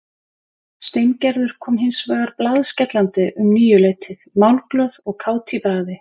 Steingerður kom hins vegar blaðskellandi um níuleytið, málglöð og kát í bragði.